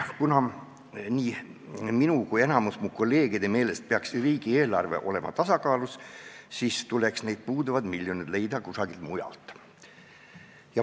Kuna nii minu kui ka enamiku mu kolleegide meelest peaks riigieelarve olema tasakaalus, tuleks need puuduvad miljonid leida kusagilt mujalt.